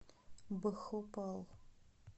бхопал